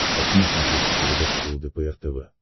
хочу на смотрешке передачу лдпр тв